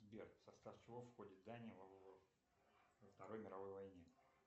сбер в состав чего входит дания во второй мировой войне